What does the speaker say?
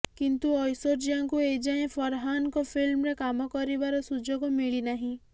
କିନ୍ତୁ ଐଶ୍ବର୍ଯ୍ୟାଙ୍କୁ ଏଯାଏଁ ଫରହାନଙ୍କ ଫିଲ୍ମରେ କାମ କରିବାର ସୁଯୋଗ ମିଳିନାହିଁ